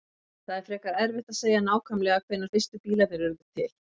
Það er frekar erfitt að segja nákvæmlega hvenær fyrstu bílarnir urðu til.